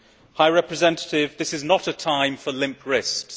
High Representative, this is not a time for limp wrists.